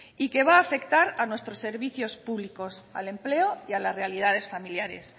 y que va afectar a nuestros servicios públicos al empleo y a las realidades familiares